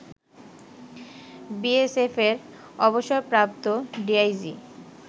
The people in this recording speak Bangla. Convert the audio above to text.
বিএসএফের অবসরপ্রাপ্ত ডিআইজি